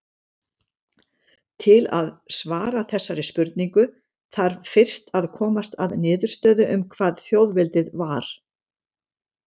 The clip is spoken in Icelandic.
Til að svara þessari spurningu þarf fyrst að komast að niðurstöðu um hvað þjóðveldið var.